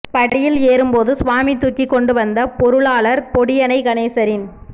படியில் ஏறும் போது சுவாமி தூக்கிக்கொண்டு வந்த பொருளாளர் பொடியனை கணேசரின்